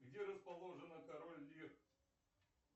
где расположена король лир